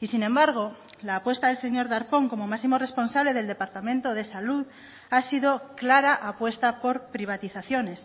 y sin embargo la apuesta del señor darpón como máximo responsable del departamento de salud ha sido clara apuesta por privatizaciones